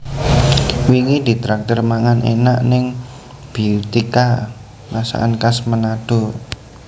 Wingi ditraktir mangan enak ning Beautika Masakan Khas Manado